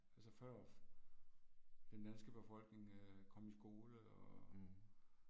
Altså før den danske befolkning øh kom i skole og